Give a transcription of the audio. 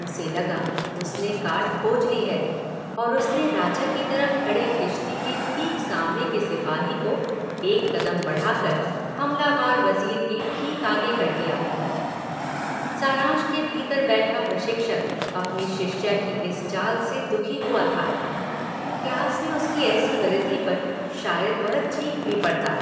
उसे लगा उसने काट खोज ली है और उसने राजा की तरफ खड़े किश्ती के ठीक सामने के सिपाही को एक कदम बढ़ा कर हमलावर वजीर के ठीक आगे कर दिया – सारंश के भीतर बैठा प्रशिक्षक अपनी शिष्य की इस चाल से दुखी हुआ था – क्लास में उसकी ऐसी गलती पर शायद वह चीख भी पड़ता